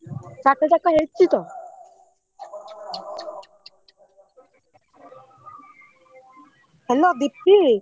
Hello Dipti.